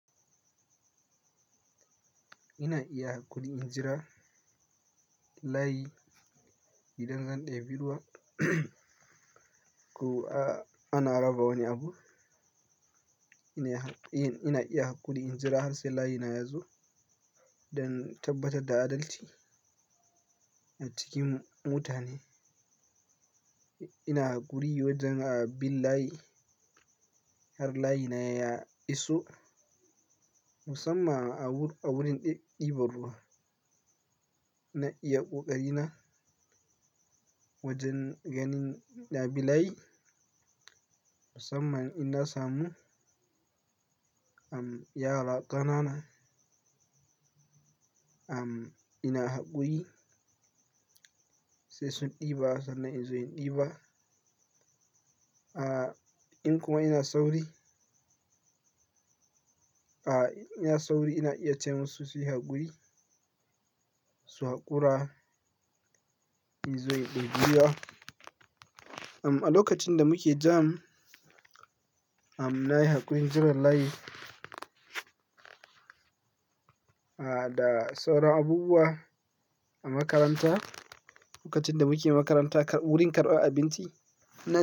Ina iya haƙuri in jira layi idan zan ɗebi ruwa ko a-ana raba wani abu. Ina iya, ina iya haƙuri in jira har sai layina ya zo don tabbatar da adalci a cikin mutane. Ina hakuri wajen a bin layi har layina ya iso musamman a wurin ɗeba ruwa. Ina iya ƙoƙari na wajen ganin na bi layi musamman in na samu am yara kanana am ina haƙuri sai sun ɗeba sannan in zo in ɗeba. A in kuma ina sauri, a ina sauri ina iya ce musu suyi haƙuri su haƙura in zo in ɗebi ruwa. Am a lokacin da muke jam, am na yi haƙurin jira layi a da sauran abubuwa a makaranta. Lokacin da muke makaranta wurin karɓar abinci.